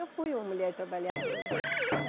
Eu fui uma mulher trabalhadora.